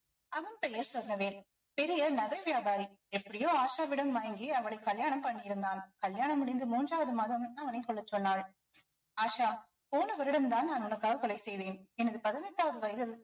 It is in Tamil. அவன் பெயர் சொர்ணவேல் பெரிய நகை வியாபாரி எப்படியோ ஆஷாவிடம் வாங்கி அவளை கல்யாணம் பண்ணியிருந்தான் கல்யாணம் முடிந்து மூன்றாவது மாதம் அவனை கொல்லச் சொன்னாள் ஆஷா போன வருடம்தான் நான் உனக்காக கொலை செய்தேன் எனது பதினெட்டாவது வயதில்